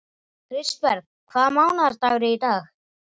Kristberg, hvaða mánaðardagur er í dag?